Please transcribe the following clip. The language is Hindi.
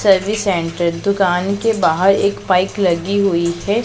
सर्विस सेंटर दुकान के बाहर एक बाइक लगी हुई है।